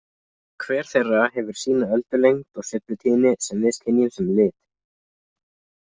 Hver þeirra hefur sína öldulengd og sveiflutíðni sem við skynjum sem lit.